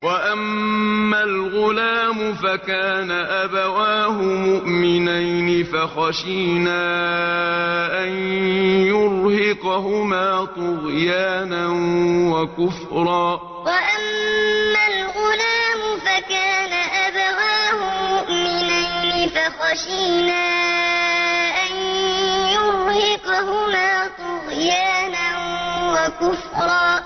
وَأَمَّا الْغُلَامُ فَكَانَ أَبَوَاهُ مُؤْمِنَيْنِ فَخَشِينَا أَن يُرْهِقَهُمَا طُغْيَانًا وَكُفْرًا وَأَمَّا الْغُلَامُ فَكَانَ أَبَوَاهُ مُؤْمِنَيْنِ فَخَشِينَا أَن يُرْهِقَهُمَا طُغْيَانًا وَكُفْرًا